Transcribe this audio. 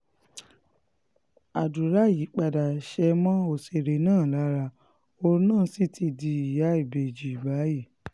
àdúrà yìí padà ṣe mọ́ òṣèré náà lára òun náà sì ti di ìyá ìbejì báyìí